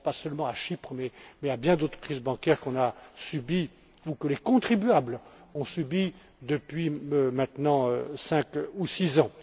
Je ne pense pas seulement à Chypre mais à bien d'autres crises bancaires que nous avons subies ou que les contribuables ont subies depuis maintenant cinq ou six